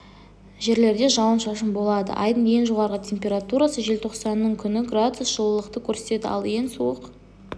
жерлерде жауын-шашын болады айдың ең жоғарғы температурасы желтоқсанның күні градус жылылықты көрсетеді ал ең суық